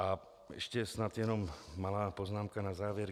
A ještě snad jenom malá poznámka na závěr.